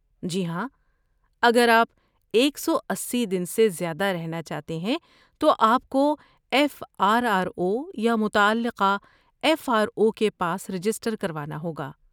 جی ہاں، اگر آپ ایک سو اسی دن سے زیادہ رہنا چاہتے ہیں تو آپ کو ایف آر آر او یا متعلقہ ایف آر او کے پاس رجسٹر کروانا ہوگا